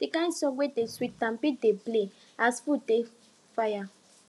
the kin songs wey dey sweet am bin dey play as food bin dey fire